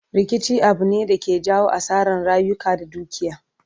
Rikici Abu ne da ke jawo asaran rayuka da dukiya